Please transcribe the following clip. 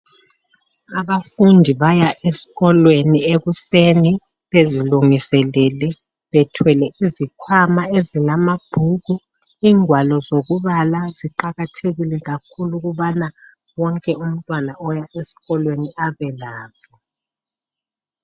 Abafundi baya esikolweni ekuseni, bezilungiselele bethwele izikhwama ezilamabhuku, ingwalo zokubala ziqakathekile kakhulu ukubana wonke umntwana oya esikolweni abelazo